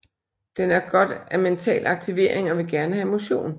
Den har godt af mental aktivering og vil gerne have motion